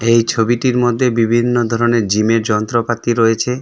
এই ছবিটির মধ্যে বিভিন্ন ধরনের জিমের যন্ত্রপাতি রয়েছে.